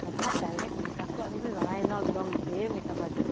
হথাৎ direct makeup টো জানাই ন এক্দম ধেৰ makeup artist